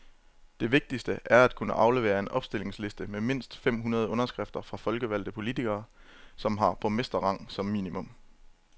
Det vigtigste er at kunne aflevere en opstillingsliste med mindst fem hundrede underskrifter fra folkevalgte politikere, som har borgmesterrang som minimum.